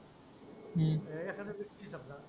एखादा विस्की चालला.